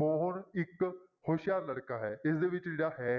ਮੋਹਨ ਇੱਕ ਹੁਸ਼ਿਆਰ ਲੜਕਾ ਹੈ ਇਸਦੇ ਵਿੱਚ ਜਾਂ ਹੈ